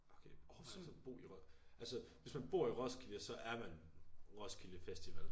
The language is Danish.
Okay overvej at så bo i Ros altså hvis man bor i Roskilde så er man Roskilde festival